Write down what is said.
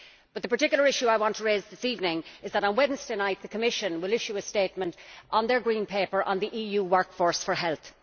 The particular issue I want to raise this evening is that on Wednesday night the Commission will issue a statement on its Green Paper on the EU workforce for health.